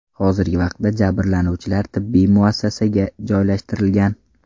Hozirgi vaqtda jabrlanuvchilar tibbiy muassasaga joylashtirilgan.